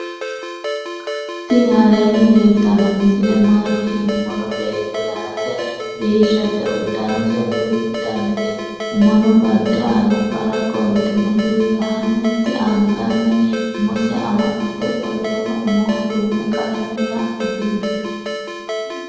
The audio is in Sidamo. tinni aleni leltano misile maati yinumoro. beeto danase bishate uudanose duchu dannite umono bade albora qoltino lanente anganni umose amaxitino qolteno umoho dume qalame da'nitino.